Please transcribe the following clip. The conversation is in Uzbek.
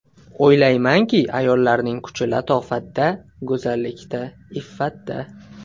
O‘ylaymanki, ayollarning kuchi latofatda, go‘zallikda, iffatda.